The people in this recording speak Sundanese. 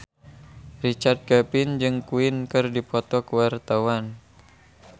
Richard Kevin jeung Queen keur dipoto ku wartawan